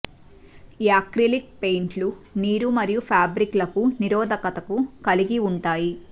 acrylic పెయింట్లు నీరు మరియు ఫాబ్రిక్ లకు నిరోధకతను కలిగి ఉంటాయి